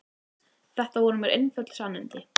Þetta voru mér einföld sannindi.